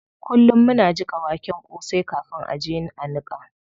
Kullum muna jiƙa waken kosai kafin a je a niƙa.